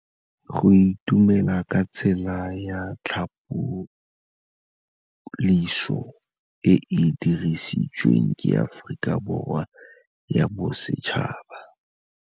Go itumela ke tsela ya tlhapolisô e e dirisitsweng ke Aforika Borwa ya Bosetšhaba.